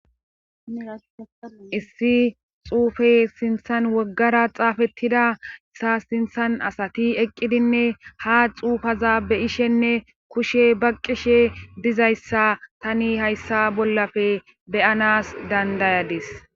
Issi xuufe sinthan woggara xaafettida asa sinthan asati eqqidinne ha xuufeza be'ishenne kushe baqqishe dizayssa tani hayssa bollappe beyanas dandayadis